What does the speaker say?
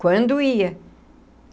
Quando ia.